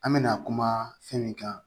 An mɛna kuma fɛn min kan